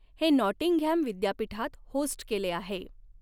हे नॉटिंघॅम विद्यापीठात होस्ट केले आहे.